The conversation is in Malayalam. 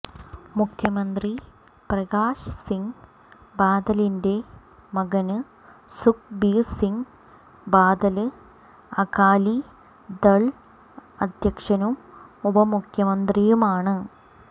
മുഖ്യമന്ത്രി പ്രകാശ്സിങ് ബാദലിന്റെ മകന് സുഖ്ബീര്സിങ് ബാദല് അകാലിദള് അധ്യക്ഷനും ഉപമുഖ്യമന്ത്രിയുമാണ്